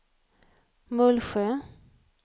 Mullsjö